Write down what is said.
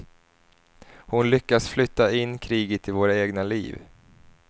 Hon lyckas flytta in kriget i våra egna liv.